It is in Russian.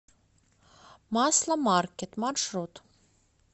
масломаркет маршрут